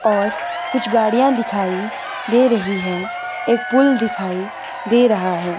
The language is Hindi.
और कुछ गाड़ियां दिखाई दे रही हैं एक पुल दिखाई दे रहा है।